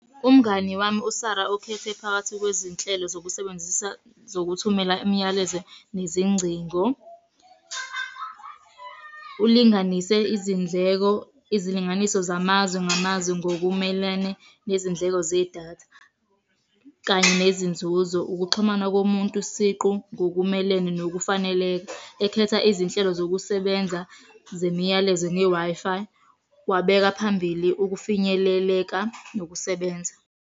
Umngani wami uSarah ukhethe phakathi kwezinhlelo zokusebenzisa zokuthumela imiyalezo nezingcingo. Ulinganise izindleko, izilinganiso zamazwe ngamazwe ngokumelene nezindleko zedatha, kanye nezinzuzo, ukuxhumana komuntu siqu ngokumelene nokufaneleka. Ekhetha izinhlelo zokusebenza, zemiyalezo ne-Wi-Fi. Wabeka phambili ukufinyeleleka nokusebenza.